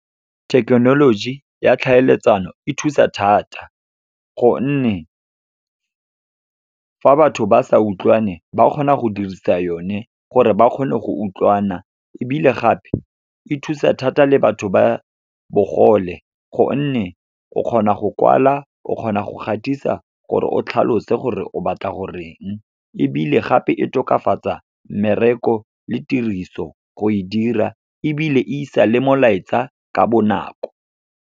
Thekenoloji ya tlhaeletsano e thusa thata, gonne fa batho ba sa utlwane ba kgona go dirisa yone, gore ba kgone go utlwana. Ebile gape, e thusa thata le batho ba bogole gonne o kgona go kwala, o kgona go gatisa gore o tlhalose gore o batla goreng. Ebile gape, e tokafatsa mmereko le tiriso go e dira, ebile e isa le molaetsa ka bonako.